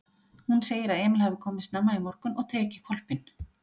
Hún segir að Emil hafi komið snemma í morgun og tekið hvolpinn.